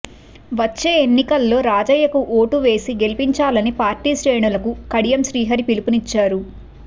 వచ్చే ఎన్నికల్లో రాజయ్యకు ఓటు వేసి గెలిపించాలని పార్టీ శ్రేణులకు కడియం శ్రీహరికి పిలుపునిచ్చారు